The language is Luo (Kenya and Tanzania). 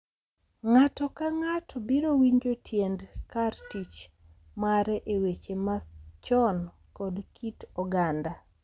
Ng’ato ka ng’ato biro winjo tiend kar tich mare e weche machon kod kit oganda